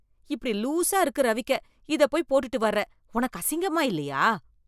இப்படி லூசா இருக்கு ரவிக்கெ. இதப் போய் போட்டுட்டு வர்றே. உனக்கு அசிங்கமா இல்லையா?!